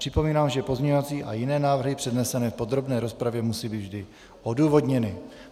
Připomínám, že pozměňovací a jiné návrhy přednesené v podrobné rozpravě musí být vždy odůvodněny.